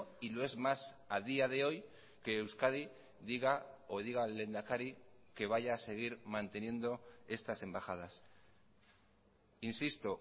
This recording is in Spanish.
y lo es más a día de hoy que euskadi diga o diga el lehendakari que vaya a seguir manteniendo estas embajadas insisto